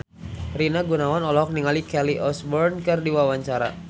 Rina Gunawan olohok ningali Kelly Osbourne keur diwawancara